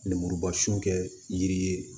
Lemuruba sun kɛ yiri ye